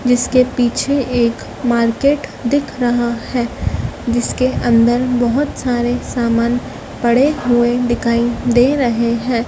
जिसके पीछे एक मार्केट दिख रहा है जिसके अंदर बहुत सारे सामान पड़े हुए दिखाई दे रहे हैं।